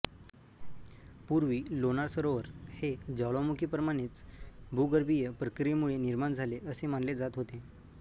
पूर्वी लोणार सरोवर हे ज्वालामुखी प्रमाणेच भूगर्भीय प्रक्रियेमुळे निर्माण झाले असे मानले जात होते